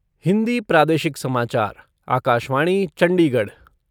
हिन्दी प्रादेशिक समाचार आकाशवाणी चंडीगढ़